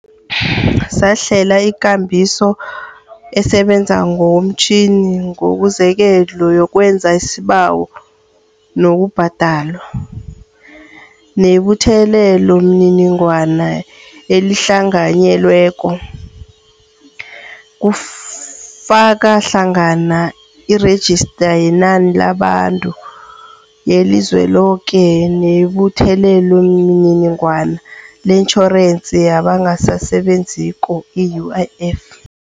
Sahlela ikambiso esebenza ngokomtjhini ngokuzeleko yokwenza isibawo nokubhadelwa, nebuthelelomininingwana elihlanganyelweko, kufaka hlangana iRejista yeNani labaNtu yeliZweloke nebuthelelomininingwana leTjhorensi yabangasaSebe nziko, i-UIF.